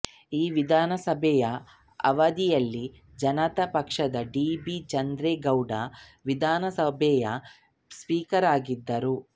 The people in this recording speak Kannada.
ಈ ವಿಧಾನಸಭೆಯ ಅವಧಿಯಲ್ಲಿ ಜನತಾ ಪಕ್ಷದ ಡಿ ಬಿ ಚಂದ್ರೇಗೌಡ ವಿಧಾನಸಭೆಯ ಸ್ಪೀಕರ್ ಆಗಿದ್ದರು